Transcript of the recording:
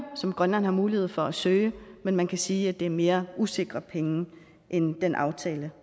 som grønland har mulighed for at søge men man kan sige at det er mere usikre penge end den aftale